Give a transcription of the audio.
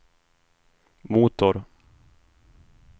motor